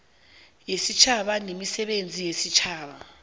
yesitjhaba nemisebenzi yesitjhaba